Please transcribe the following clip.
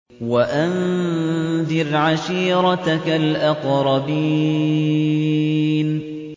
وَأَنذِرْ عَشِيرَتَكَ الْأَقْرَبِينَ